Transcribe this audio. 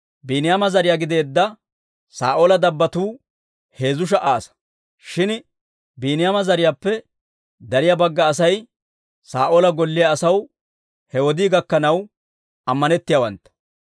Biiniyaama zariyaa gideedda Saa'oola dabbotuu heezzu sha"a asaa. Shin Biiniyaama zariyaappe dariyaa bagga Asay Saa'oola golliyaa asaw he wodii gakkanaw ammanettiyaawantta.